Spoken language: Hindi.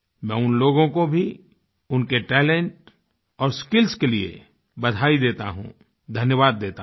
मैं उन लोगों को भी उनके टैलेंट और स्किल्स के लिए बधाई देता हूँ धन्यवाद देता हूँ